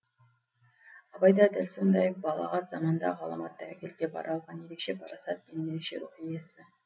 абай да дәл сондай балағат заманда ғаламат тәуекелге бара алған ерекше парасат пен ерекше иесі